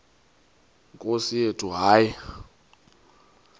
nkosi yethu hayi